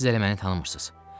Siz elə məni tanımırsız.